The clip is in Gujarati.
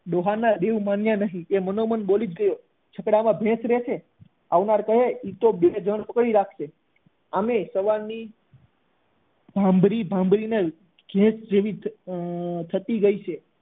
ડોહા ના રીવ માન્યા નહી એ મનોમન બોલી જ ઉઠ્યો છકડા માં ભેંસ રહે છે આવનાર કહે એ તો બે લોકો પકડી રાખશે આમ પણ સવારની ભામ્બરી ભામ્બરી ને ભેંસ જેવી થતી ગઈ છે